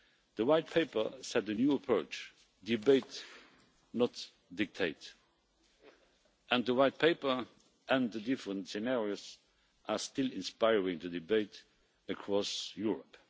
The White Paper set a new approach debate, not dictate and the White Paper and the different scenarios are still inspiring the debate across Europe.